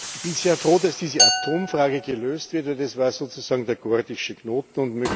Ich bin sehr froh, dass diese Atomfrage gelöst wird, denn das war sozusagen der Gordische Knoten.